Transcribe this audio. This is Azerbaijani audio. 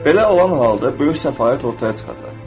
Belə olan halda böyük səfalət ortaya çıxacaq.